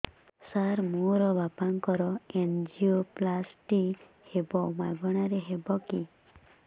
ସାର ମୋର ବାପାଙ୍କର ଏନଜିଓପ୍ଳାସଟି ହେବ ମାଗଣା ରେ ହେବ କି